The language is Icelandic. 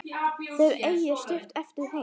Þeir eiga stutt eftir heim.